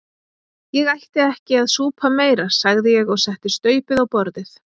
Ég ætti ekki að súpa meira sagði ég og setti staupið á borðið.